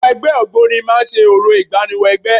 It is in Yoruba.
Àwọn ẹgbẹ́ Ògboni máa ń ṣe orò ìgbáníwọ-ẹgbẹ́.